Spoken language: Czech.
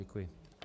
Děkuji.